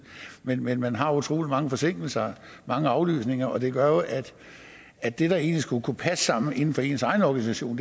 hvad men man har utrolig mange forsinkelser mange aflysninger og det gør jo at det der egentlig skulle kunne passe sammen inden for ens egen organisation